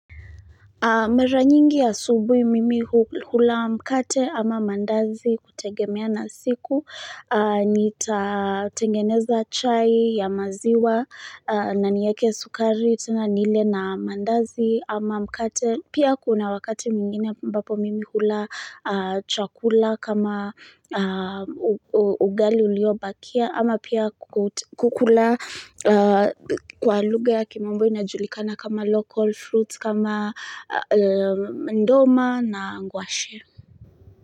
Mara nyingi asubui mimi hula mkate ama mandazi kutegemea na siku, nitatengeneza chai ya maziwa na nieke sukari, tena nile na mandazi ama mkate. Pia kuna wakati mwingine ambapo mimi hula chakula kama ugali uliobakia ama pia kukula kwa lugha ya kimombo inajulikana kama local fruits kama nduma na ngwashe.